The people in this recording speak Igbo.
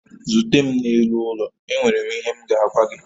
Zute m n'elu ụlọ, enwere m ihe m ga-agwa gị